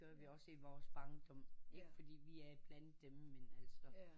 Det gør vi også i vores barndom fordi vi er blandt dem altså